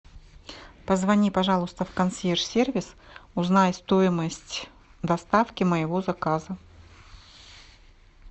позвони пожалуйста в консьерж сервис узнай стоимость доставки моего заказа